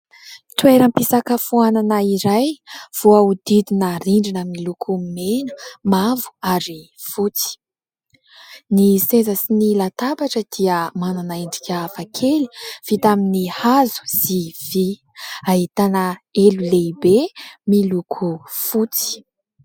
Toeram-pisakafoanana iray voahodidina rindrina miloko mena, mavo ary fotsy. Ny seza sy ny latabatra dia manana endrika hafakely vita amin'ny hazo sy vy. Ahitana elo lehibe miloko fotsy.